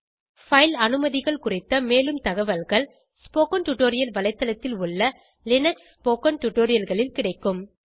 file அனுமதிகள் குறித்த மேலும் தவல்கள் ஸ்போக்கன் டியூட்டோரியல் வலைத்தளத்தில் உள்ள லினக்ஸ் ஸ்போக்கன் tutorialகளில் கிடைக்கும்